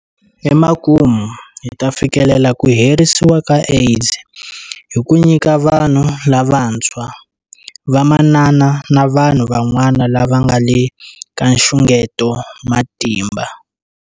Emakumu, hi ta fikelela ku herisiwa ka AIDS hi ku nyika vanhu lavantshwa, vamanana na vanhu van'wana lava nga le ka nxungeto matimba.